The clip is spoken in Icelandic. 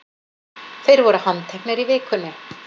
Þeir voru handteknir í vikunni